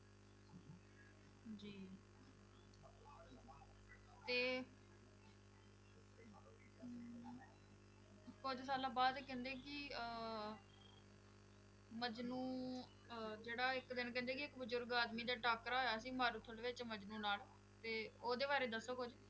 ਕੁੱਝ ਸਾਲਾਂ ਬਾਅਦ ਕਹਿੰਦੇ ਕਿ ਮਜਨੂੰ ਅਹ ਜਿਹੜਾ ਇੱਕ ਦਿਨ ਕਹਿੰਦੇ ਕਿ ਬਜ਼ੁਰਗ ਆਦਮੀ ਦਾ ਟਾਕਰਾ ਹੋਇਆ ਸੀ ਮਾਰੂਥਲ ਵਿੱਚ ਮਜਨੂੰ ਨਾਲ, ਤੇ ਉਹਦੇ ਬਾਰੇ ਦੱਸੋ ਕੁੱਝ।